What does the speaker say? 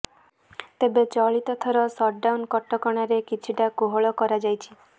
ତେବେ ଚଳିତ ଥର ସଟ୍ଡାଉନ୍ କଟକଣାରେ କିଛିଟା କୋହଳ କରାଯାଇଛି